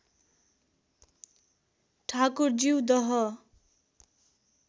ठाकुरज्यू दह